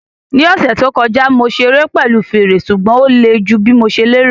Ní ọ̀sẹ̀ tó kọjá, mo ṣeré pẹ̀lú fèrè, ṣùgbọ́n ó le ju bí mo ṣe lérò